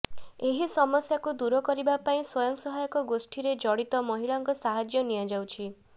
ଏହି ସମସ୍ୟାକୁ ଦୂର କରିବା ପାଇଁ ସ୍ବଂୟ ସହାୟକ ଗୋଷ୍ଠୀରେ ଜଡିତ ମହିଳାଙ୍କ ସାହାଯ୍ୟ ନିଆଯାଉଛି